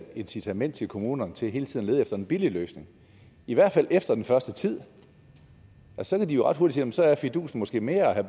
incitament til kommunerne til hele tiden at lede efter en billig løsning i hvert fald efter den første tid så kan de jo ret hurtigt sige at fidusen måske mere er at